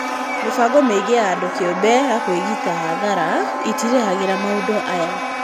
Mĩbango mĩingĩ ya andũ kĩũmbe ya kwĩgita hathara ĩtĩrĩhagĩra maũndu aya.